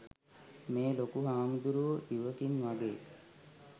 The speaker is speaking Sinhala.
මේ ලොකු හාමුදුරුවෝ ඉවකින් වගේ